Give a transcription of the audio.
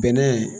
Bɛnɛ